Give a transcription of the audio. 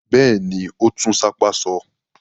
Bẹ́ẹ̀ ni, ó tún sápá sọ.